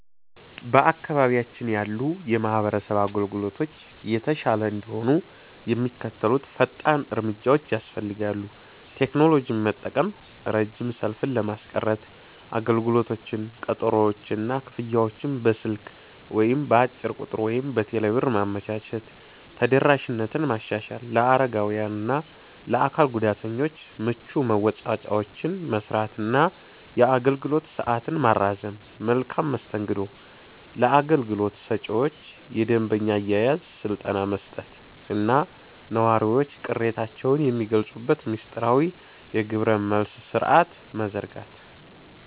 በአካባቢያችን ያሉ የማህበረሰብ አገልግሎቶች የተሻለ እንዲሆኑ የሚከተሉት ፈጣን እርምጃዎች ያስፈልጋሉ፦ ቴክኖሎጂን መጠቀም፦ ረጅም ሰልፍን ለማስቀረት አገልግሎቶችን፣ ቀጠሮዎችን እና ክፍያዎችን በስልክ (በአጭር ቁጥር ወይም በቴሌብር) ማመቻቸት። ተደራሽነትን ማሻሻል፦ ለአረጋውያን እና ለአካል ጉዳተኞች ምቹ መወጣጫዎችን መሥራት እና የአገልግሎት ሰዓትን ማራዘም። መልካም መስተንግዶ፦ ለአገልግሎት ሰጪዎች የደንበኛ አያያዝ ስልጠና መስጠት እና ነዋሪዎች ቅሬታቸውን የሚገልጹበት ሚስጥራዊ የግብረ-መልስ ሥርዓት መዘርጋት።